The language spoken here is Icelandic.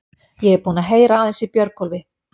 Ég er búinn að heyra aðeins í Björgólfi.